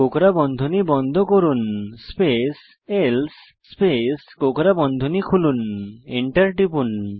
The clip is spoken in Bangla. কোঁকড়া বন্ধনী বন্ধ করুন স্পেস এলসে স্পেস কোঁকড়া বন্ধনী খুলুন এন্টার টিপুন